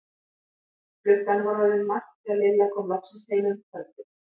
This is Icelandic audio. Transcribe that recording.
Klukkan var orðin margt þegar Lilla kom loksins heim um kvöldið.